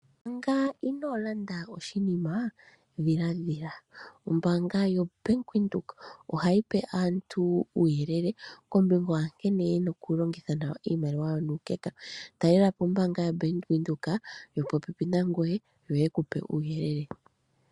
Manga inoo landa oshinima , dhiladhila. Ombaanga yoBank Windhoek ohayi pe aantu uuyelele kombinga ya nkene ye na okulongitha nawa iimaliwa yawo nuukeka. Talelapo ombaanga yoBank Windhoek yopopepi nangweye yo ye ku pe uuyelele.